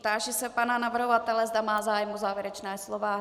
Táži se pana navrhovatele, zda má zájem o závěrečné slovo.